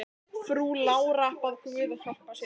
Frú Lára bað guð að hjálpa sér.